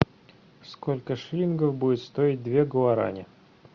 сколько шиллингов будет стоить две гуарани